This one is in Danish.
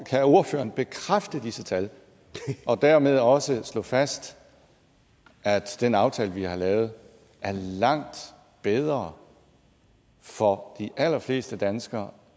kan ordføreren bekræfte disse tal og dermed også slå fast at den aftale vi har lavet er langt bedre for de allerfleste danskere